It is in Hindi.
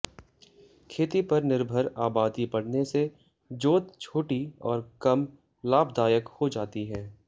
खेती पर निर्भर आबादी बढ़ने से जोत छोटी और कम लाभदायक हो जाती हैं